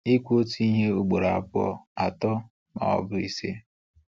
Ikwu otu ihe ugboro abụọ, atọ, ma ọ bụ ise.